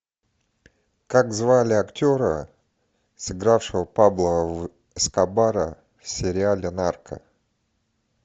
как звали актера сыгравшего пабло эскобара в сериале нарко